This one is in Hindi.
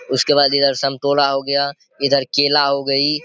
उसके बाद इधर संतोरा हो गया इधर केला हो गई।